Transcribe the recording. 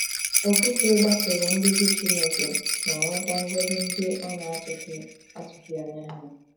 Okwute gbasoro nduzi Chineke ma nweta ngọzi ndị ọ na - atụghị atụghị anya ha